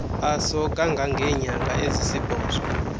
aso kangangeenyanga ezisibhozo